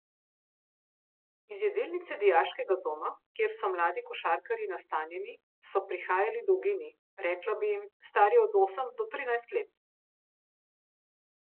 Iz jedilnice dijaškega doma, kjer so mladi košarkarji nastanjeni, so prihajali dolgini, rekla bi, stari od osem do trinajst let.